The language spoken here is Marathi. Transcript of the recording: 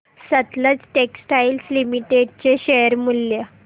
सतलज टेक्सटाइल्स लिमिटेड चे शेअर मूल्य